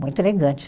Muito elegante.